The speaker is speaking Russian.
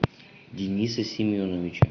дениса семеновича